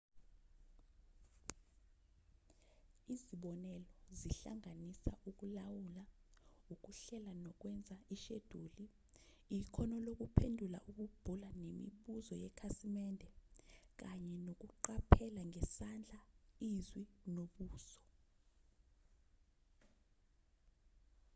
izibonelo zihlanganisa ukulawula ukuhlela nokwenza isheduli ikhono lokuphendula ukubhula nemibuzo yekhasimende kanye nokuqaphela ngesandla izwi nobuso